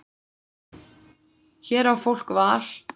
Hér á fólk val.